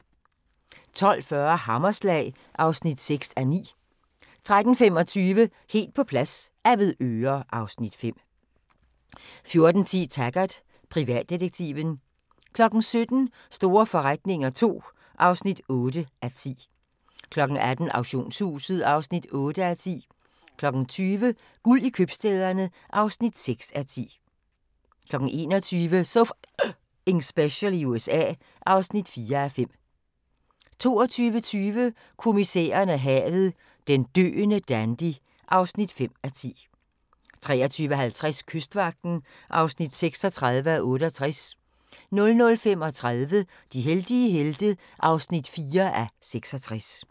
12:40: Hammerslag (6:9) 13:25: Helt på plads - Avedøre (Afs. 5) 14:10: Taggart: Privatdetektiven 17:00: Store forretninger II (8:10) 18:00: Auktionshuset (8:10) 20:00: Guld i købstæderne (6:10) 21:00: So F***ing Special i USA (4:5) 22:20: Kommissæren og havet: Den døende dandy (5:10) 23:50: Kystvagten (36:68) 00:35: De heldige helte (4:66)